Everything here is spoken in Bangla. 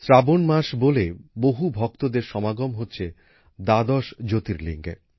শ্রাবণ মাসে বলে বহু ভক্তদের সমাগম হচ্ছে দ্বাদশ জ্যোতির্লিঙ্গে